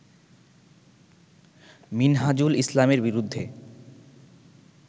মিনহাজুল ইসলামের বিরুদ্ধে